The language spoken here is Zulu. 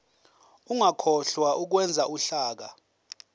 ungakhohlwa ukwenza uhlaka